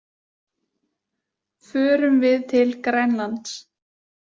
Förum við til Grænlands?